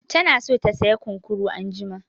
Tana so ta saya ƙunƙuru anjima